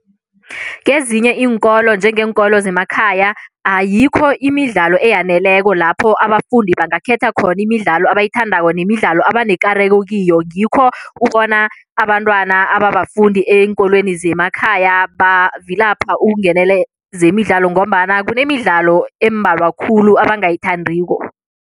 Kezinye iinkolo njengeenkolo zemakhaya ayikho imidlalo eyaneleko lapho abafundi bangakhetha khona imidlalo abayithandako nemidlalo abanekareko kiyo ngikho ubona abantwana ababafundi eenkolweni zemakhaya bavilapha ukungenele zemidlalo ngombana kunemidlalo embalwa khulu abangayithandiko.